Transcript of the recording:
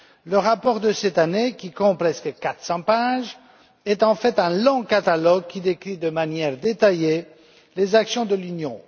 Le rapport de cette année, qui compte presque 400 pages, est en fait un long catalogue qui décrit de manière détaillée les actions de l'Union.